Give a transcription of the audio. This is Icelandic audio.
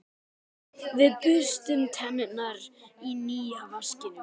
Við burstum tennurnar í nýja vaskinum.